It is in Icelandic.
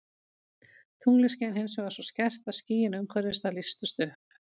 Tunglið skein hins vegar svo skært að skýin umhverfis það lýstust upp.